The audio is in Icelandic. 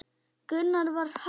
Gunnar var hastur.